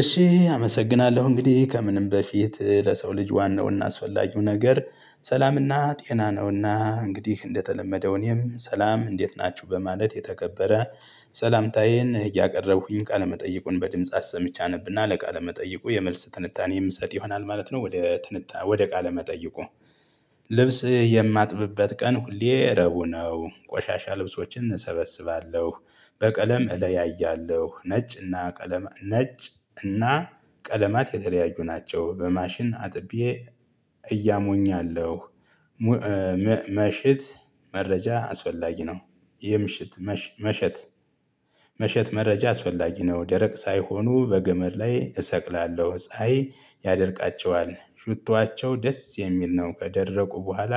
እሺ አመሰግናለሁ እንግዲህ ከምንም በፊት ለሰው ልጅ ዋናው እናስፈላጊው ነገር ሰላምና ጤና ነውና እንግዲህ እንደተለመደው እኔም ሰላም እንዴት ናችሁ በማለት የተከበረ ሰላምታዬን እያቀረብኩኝ ቃለመጠይቁን በድምጽ አሰምቼ አነብ እና ለቃለ መጠይቁ የመልስ ትንታኔ የምሰጥ ይሆናል ማለት ነው። ወደ ትንታ ወደ ቃለ መጠይቁ። ልብስ የማጥብበት ቀን ሁሌ ረቡዕ ነው ቆሻሻ ልብሶችን እሰበስባለሁ በቀለም እለያያለሁ ነጭና ቀለም ነጭና ቀለማት የተለያዩ ናቸው። በማሽን አጥቤ እያሞኛለሁ። ምሽት መሸት መረጃ አስፈላጊ ነው። የምሽት መሸት መሸት መረጃ አስፈላጊ ነው። ደረቅ ሳይሆኑ በገመድ ላይ እሰቅላለሁ ጸሀዬ ያደርቃቸዋል ሹቷቸው ደስ የሚል ነው። ከደረቁ በኋላ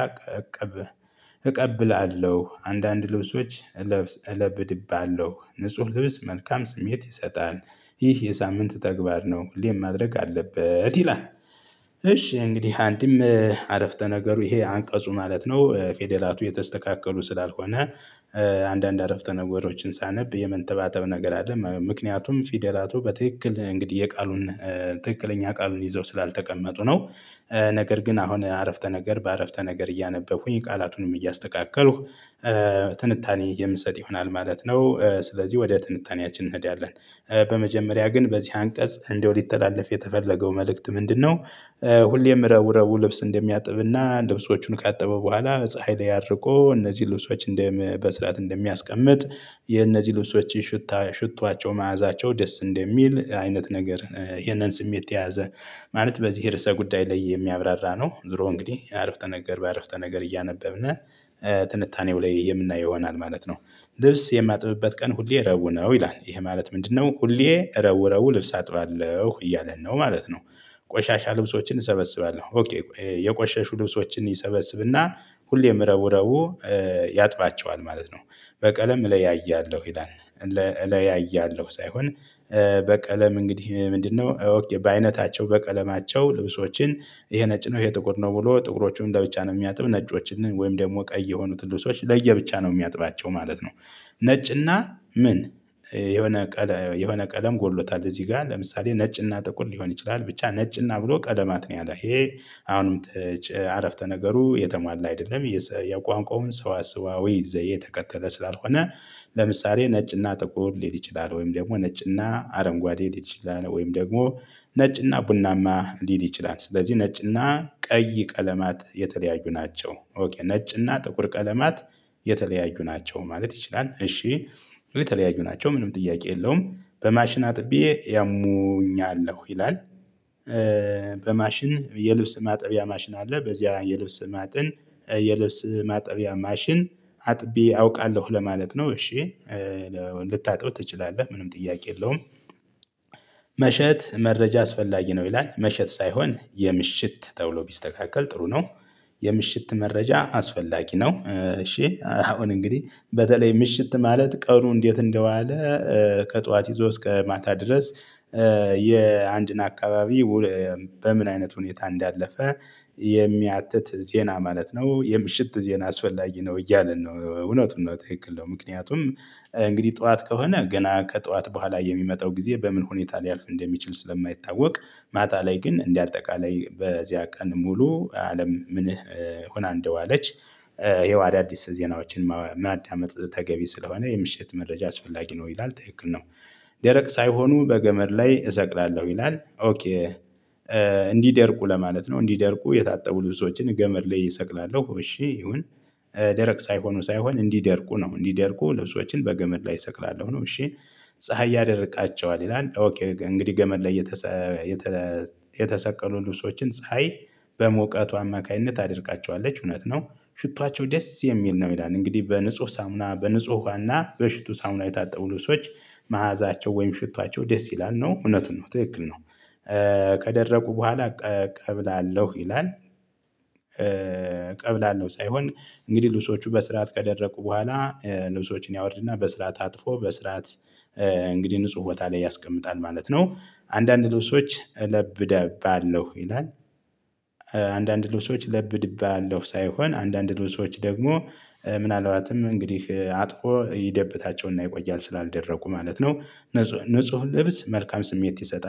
እቀብላለሁ አንዳንድ ልብሶች እለብስ እለብድብሃለሁ ንጹህ ልብስ መልካም ስሜት ይሰጣል። ይህ የሳምንት ተግባር ነው ሌም ማድረግ አለበት ይላል። እሺ እንግዲህ አንድም አረፍተ ነገሩ ይሄ አንቀጹ ማለት ነው ፊደላቱ የተስተካከሉ ስላልሆነ። አንዳንድ አረፍተ ነገሮችን ሳነብ የመንተባተብ ነገር አለ ምክንያቱም ፊደላቱ በትክክል እንግዲህ የቃሉን ትክክለኛ ቃሉን ይዘው ስላልተቀመጡ ነው። ነገር ግን አሁን አረፍተ ነገር በአረፍተ ነገር እያነበብኩኝ ቃላቱንም እያስተካከሉኝ ትንታኔ የምሰጥ ይሆናል ማለት ነው። ስለዚህ ወደ ትንታኔያችን እንሄዳለን። በመጀመሪያ ግን በዚህ አንቀጽ እንደው ሊተላለፍ የተፈለገው መልእክት ምንድነው? ሁሌም ረቡ ረቡ ልብስ እንደሚያጥብና ልብሶቹን ካጠበ በኋላ ፀሀይ ላይ አድርቆ እነዚህ ልብሶች እንደም በስርዓት እንደሚያስቀምጥ የእነዚህ ልብሶች ሽታ ሽቷቸው መዓዛቸው ደስ እንደሚል አይነት ነገር ይሄንን ስሜት የያዘ ማለት በዚህ የርዕሰ ጉዳይ ላይ የሚያብራራ ነው። ዝሮ እንግዲህ አረፍተ ነገር በአረፍተ ነገር እያነበብነ ትንታኔው ላይ የምናየው ይሆናል ማለት ነው። ልብስ የማጥብበት ቀን ሁሌ ረቡዕ ነው ይላል ይሄ ማለት ምንድነው? ሁሌ ረቡዕ ረቡዕ ልብስ አጥባለሁ እያለን ነው ማለት ነው። ቆሻሻ ልብሶችን እሰበስባለሁ ኦኬ የቆሸሹ ልብሶችን ይሰበስብና ሁሌም ረቡዕ ረቡዕ ያጥባቸዋል ማለት ነው። በቀለም እለያያለሁ ይላል። እለያያለሁ ሳይሆን በቀለም እንግዲህ ምንድን ነው? ኦኬ በአይነታቸው በቀለማቸው ልብሶችን ይሄ ነጭ ነው ይሄ ጥቁር ነው ብሎ ጥቁሮቹን ለብቻ ነው የሚያጥብ ነጮችን ወይም ደግሞ ቀይ የሆኑት ልብሶች ለየብቻ ነው ሚያጥባቸው ማለት ነው። ነጭና ምን? የሆነ የሆነ ቀለም ጎድሎታል እዚህ ጋር ለምሳሌ ነጭና ጥቁር ሊሆን ይችላል። ብቻ ነጭና ብሎ ቀለማት ነው ያለ ይሄ። አሁንም አረፍተ ነገሩ የተሟላ አይደለም የቋንቋውን ሰዋሰዋዊ ዘዬ ተከተለ ስላልሆነ። ለምሳሌ ነጭና ጥቁር ሊል ይችላል ወይም ደግሞ ነጭና አረንጓዴ ሊል ይችላል ወይም ደግሞ ነጭና ቡናማ ሊል ይችላል ስለዚህ ነጭና ቀይ ቀለማት የተለያዩ ናቸው። ነጭና ጥቁር ቀለማት የተለያዩ ናቸው ማለት ይችላል። እሺ የተለያዩ ናቸው ምንም ጥያቄ የለውም። በማሽን አጥቤ ያሙኛለሁ ይላል። በማሽን የልብስ ማጠቢያ ማሽን አለ በዚያ የልብስ ማጥን የልብስ ማጠቢያ ማሽን አጥቢ አውቃለሁ ለማለት ነው። እሺ ልታጥብ ትችላለህ ምንም ጥያቄ የለውም። መሸት መረጃ አስፈላጊ ነው ይላል መሸት ሳይሆን የምሽት ተብሎ ቢስተካከል ጥሩ ነው። የምሽት መረጃ አስፈላጊ ነው። እሺ አሁን እንግዲህ በተለይ ምሽት ማለት ቀኑ እንዴት እንደዋለ። ከጧት ይዞ እስከ ማታ ድረስ። የአንድን አካባቢ በምን አይነት ሁኔታ እንዳለፈ የሚያትት ዜና ማለት ነው። የምሽት ዜና አስፈላጊ ነው እያለን ነው እውነቱን ነው ትክክል ነው። ምክንያቱም እንግዲህ ጠዋት ከሆነ ገና ከጠዋት በኋላ የሚመጣው ጊዜ በምን ሁኔታ ሊያልፍ እንደሚችል ስለማይታወቅ። ማታ ላይ ግን እንዲህ አጠቃላይ በዚያ ቀን ሙሉ አለም ምንህ ሆና እንደዋለች። ይሄው አዳዲስ ዜናዎችን ምን አዳመጥ ተገቢ ስለሆነ የምሽት መረጃ አስፈላጊ ነው። ይላል ትክክል ነው። ደረቅ ሳይሆኑ በገመድ ላይ እሰቅላለሁ ይላል። እንዲደርቁ ለማለት ነው እንዲደርቁ የታጠቡ ልብሶችን ገመድ ላይ እሰቅላለሁ። እሺ ይሁን። ደረቅ ሳይሆኑ ሳይሆን እንዲደርቁ ነው እንዲደርቁ ልብሶችን በገመድ ላይ እሰቅላለሁ ነው። እሺ ፀሀይ ያደርቃቸዋል ይላል። ኦኬ እንግዲህ ገመድ ላይ የተሰቀሉ ልብሶችን ፀሀይ በሙቀቷ አማካኝነት ታደርቃቸዋለች። እውነት ነው። ሽቷቸው ደስ የሚል ነው ይላል እንግዲህ በንጹህ ሳሙና በንጹህ ውሃና በሽቱ ሳሙና የታጠቡ ልብሶች መዓዛቸው ወይም ሽቷቸው ደስ ይላል ነው። እውነቱን ነው ትክክል ነው። ከደረቁ በኋላ ቀብላለሁ ይላል። ቀብላለሁ ሳይሆን እንግዲህ ልብሶቹ በስርዓት ቀደረቁ በኋላ ልብሶችን ያወርድና በስርዓት አጥፎ በስርዓት እንግዲህ ንጹህ ወጣ ላይ ያስቀምጣል ማለት ነው። አንዳንድ ልብሶች እለብዳባለሁ ይላል። አንዳንድ ልብሶች ለብድብያለሁ ሳይሆን አንዳንድ ልብሶች ደግሞ ምን አልባትም እንግዲህ አጥፎ ይደበታቸውና ይቆያል ስላልደረቁ ማለት ነው። ንጹህ ልብስ መልካም ስሜት ይሰጣል